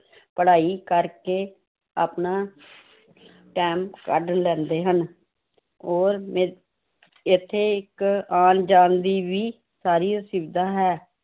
ਪੜ੍ਹਾਈ ਕਰਕੇ ਆਪਣਾ time ਕੱਢ ਲੈਂਦੇ ਹਨ ਉਹ ਇੱਥੇ ਇੱਕ ਆਉਣ ਜਾਣ ਦੀ ਵੀ ਸਾਰੀ ਸੁਵਿਧਾ ਹੈ l